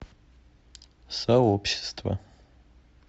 сообщество